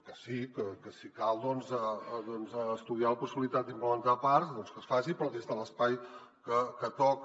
que si cal estudiar la possibilitat d’implementar parcs doncs que es faci però des de l’espai que toca